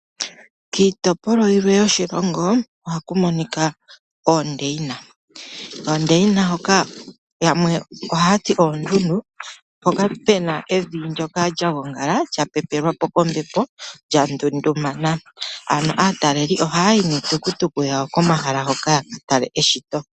Kiitopolwa yilwe yoshilongo ohaku monika oondeyina. Koondeyina hoka yamwe oha yati oondundu mpoka puna evi lyapepelwapo kombepo lyandumbala. Ano aatalelipo oha yayi niitukutuku yawo kehala hoka yakatale eshito.